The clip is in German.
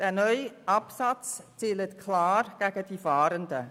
Der neue Absatz zielt klar gegen die Fahrenden.